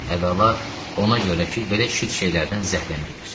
Əvvəla, ona görə ki, belə şit şeylərdən zəhləm gedir.